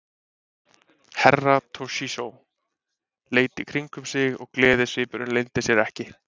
Herra Toshizo leit í kringum sig og gleðisvipurinn leyndi sér ekki.